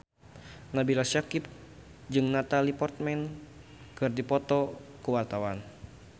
Nabila Syakieb jeung Natalie Portman keur dipoto ku wartawan